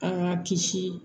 An k'an kisi